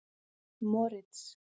Moritz